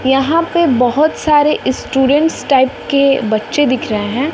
यहां पे बहोत सारे स्टूडेंट टाइप के बच्चे दिख रहे हैं।